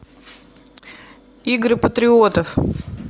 игры патриотов